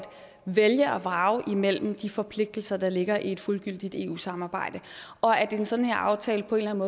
vælge og vrage imellem de forpligtelser der ligger i et fuldgyldigt eu samarbejde og at en sådan aftale på en